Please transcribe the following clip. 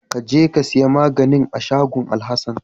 Kaje ka siya maganin a shagon Alhasan.